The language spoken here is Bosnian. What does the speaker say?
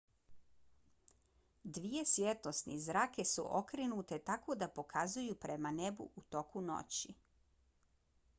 dvije svjetlosne zrake su okrenute tako da pokazuju prema nebu u toku noći